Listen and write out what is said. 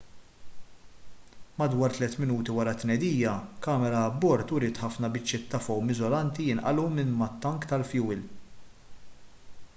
madwar 3 minuti wara t-tnedija kamera abbord uriet ħafna biċċiet ta' fowm iżolanti jinqalgħu minn mat-tank tal-fjuwil